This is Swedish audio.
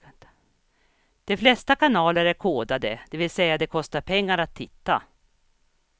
De flesta kanaler är kodade, det vill säga det kostar pengar att titta.